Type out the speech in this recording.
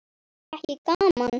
Var ekki gaman?